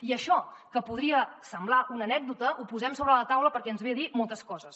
i això que podria semblar una anècdota ho posem sobre la taula perquè ens ve a dir moltes coses